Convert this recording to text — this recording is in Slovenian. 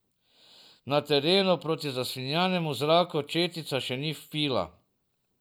Na terenu proti zasvinjanemu zraku četica še ni vpila.